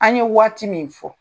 An' ye waati min fɔ